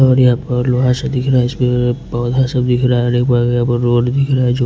और यहाँ पर लोहा सा दिख रहा हैं इसमें पौधा सा दिख रहा हैं और यहाँ पर रोड दिख रहा हैं जो--